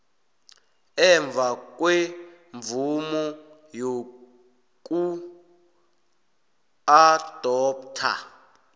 emva kwemvumo yokuadoptha